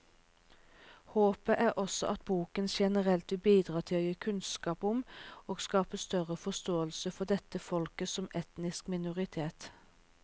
Håpet er også at boken generelt vil bidra til å gi kunnskap om og skape større forståelse for dette folket som etnisk minoritet.